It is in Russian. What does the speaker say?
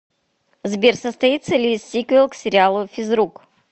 сбер состоится ли сиквел к сериалу физрук